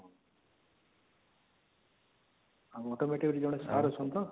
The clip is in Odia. ଆଉ automotive ରେ ଜଣେ sir ଅଛନ୍ତି ତ